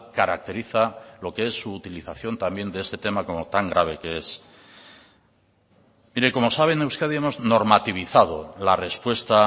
caracteriza lo que es su utilización también de este tema como tan grave que es mire como sabe en euskadi hemos normativizado la respuesta